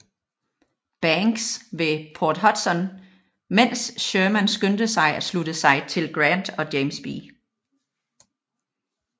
Banks ved Port Hudson mens Sherman skyndte sig med at slutte sig til Grant og James B